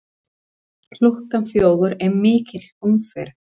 Klukkan fjögur er mikil umferð.